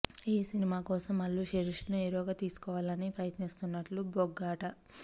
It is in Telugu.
ఈ సినిమా కోసం అల్లు శిరీష్ ను హీరోగా తీసుకోవాలి అని ప్రయత్నిస్తున్నట్లు బోగట్టా